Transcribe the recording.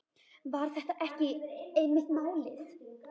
Var þetta ekki einmitt málið?